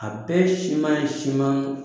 A bɛɛ siman ye siman